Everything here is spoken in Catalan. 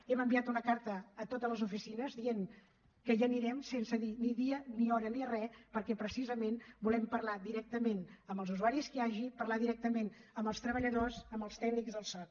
hem enviat una carta a totes les oficines dient que hi anirem sense dir ni dia ni hora ni re perquè precisament volem parlar directament amb els usuaris que hi hagi parlar directament amb els treballadors amb els tècnics del soc